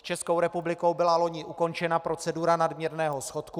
S Českou republikou byla loni ukončena procedura nadměrného schodku.